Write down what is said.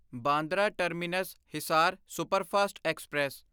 Bandra terminus Hisar superfast express